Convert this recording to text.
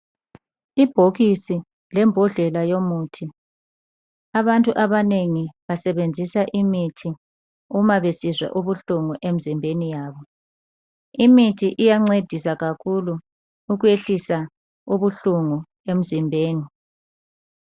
Ibhokisi lembodlela yomuthi. Abantu abanengi basebenzisa imithi uma besizwa ubuhlungu emzimbeni yabo. Imithi iyancedisa kakhulu ukwehlisa ubuhlungu emzimbeni.